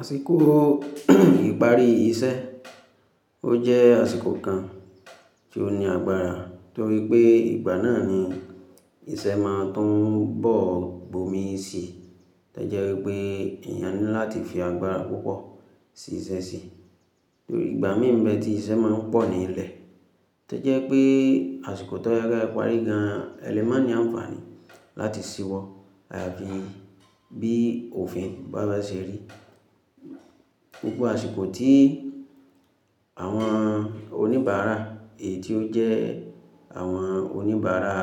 Àsìkò ìparí iṣẹ́, ó jẹ́ àsìkò kan tí ó ní agbára torí pé ìgbà náà ni iṣẹ́ máa tún bọ̀ gbomi si tojẹ́ pé èèyàn ní láti fi agbára púpọ̀ sí iṣẹ́ si. Torí ìgbà mí n be tí iṣẹ́ máa ń pọ̀ ní ilẹ̀ tojẹ́ pé àsìkò tó yẹ ke e parí gan ẹlẹ́ma ní àǹfààní láti ṣíwọ́ ayafi bí òfin bá máa ṣe rí. Púpọ̀ àsìkò tí àwọn oníbàárà èyí tí ó jẹ́ àwọn oníbàárà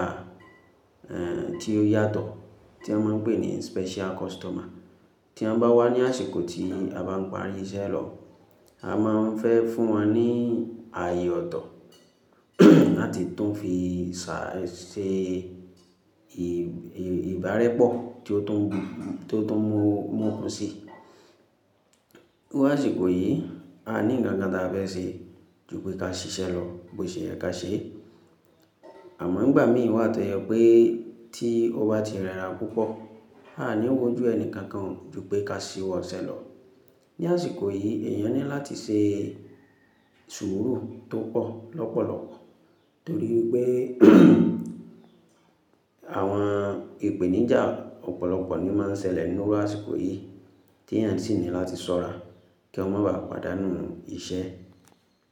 è tí ó yàtọ̀ tí wọ́n máa ń pè ní special customer tí wọ́n bá wá ní àsìkò tí a bá ń parí iṣẹ́ lọ, a máa ń fẹ́ fún wọn ní ààyè ọ̀tọ̀ láti tún fi ṣà ṣe e ìbàrẹ̀pọ̀ tí ó tún mú òkun si. Mo àsìkò yìí, a ní ǹkan kan tí a fẹ́ ṣe ju pé ka ṣiṣẹ́ lọ bó ṣe yẹ kí a ṣe. Àmọ́ nígbà míì wà tó yẹ pé tí o bá ti rẹra púpọ̀, a à níwo ojú ẹni kankan ju pé ka ṣíwọ́ iṣẹ́ lọ. Ni àsìkò yìí, èèyàn ní láti ṣe sùúrù tó pọ̀ lọ́pọ̀lọpọ̀ torí pé àwọn ìpèníjà ọ̀pọ̀lọpọ̀ ni máa ń ṣẹlẹ̀ ní iru àsìkò yìí tí èèyàn sì ní láti ṣọ́ra kí wọ́n má ba à pàdánù iṣẹ́.